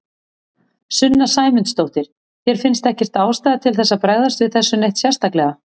Sunna Sæmundsdóttir: Þér finnst ekkert ástæða til þess að bregðast við þessu neitt sérstaklega?